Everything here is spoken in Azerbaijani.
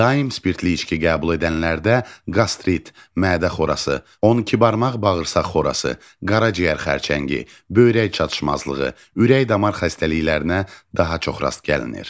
Daim spirtli içki qəbul edənlərdə qastrit, mədə xorası, 12 barmaq bağırsaq xorası, qaraciyər xərçəngi, böyrək çatışmazlığı, ürək-damar xəstəliklərinə daha çox rast gəlinir.